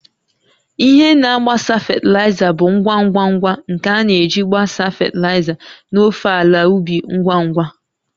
Ihe na-agbasa fatịlaịza bụ ngwa ngwa ngwa nke a na-eji gbasaa fatịlaịza n'ofe ala ubi ngwa ngwa